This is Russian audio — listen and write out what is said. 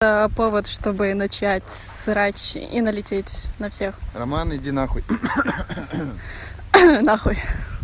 а повод чтобы начать срач и налететь на всех роман иди нахуй нахуй